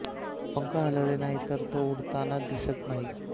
पंख हलवले नाही तर तो उडताना दिसत नाही